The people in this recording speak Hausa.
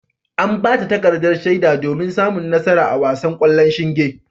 An bata takardar shaida domin samun nasara a wasan ƙwallon shinge.